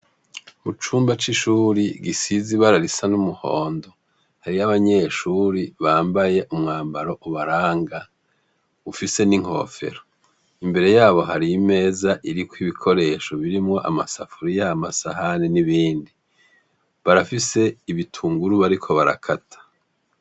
Mu cumba c'ishuri gisize ibara risa n'umuhondo, hariyo abanyeshuri bambaye umwambaro ubaranga, ufise n'inkofero. Imbere yabo hari 'imeza iriko ibikoresho birimwo amasafuriya, amasahani n'ibindi. Barafise ibitunguru bariko barakata.